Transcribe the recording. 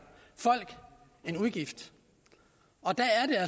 folk en udgift og